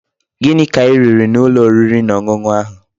Gini ka I riri n'ulo oriri na onunu ahu?